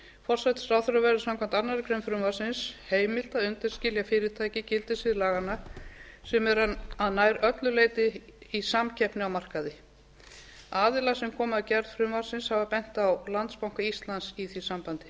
forsætisráðherra verður samkvæmt annarri grein frumvarpsins heimilt að undanskilja fyrirtæki gildissviði laganna sem eru að nær öllu leyti í samkeppni að markaði aðilar sem komu að gerð frumvarpsins hafa bent á landsbanka íslands í því sambandi